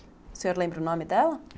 O senhor lembra o nome dela?